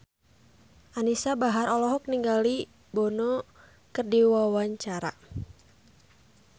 Anisa Bahar olohok ningali Bono keur diwawancara